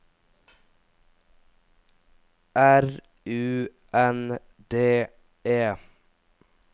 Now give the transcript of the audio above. R U N D E